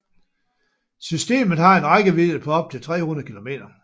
Systemet har en rækkevidde på op til 300 km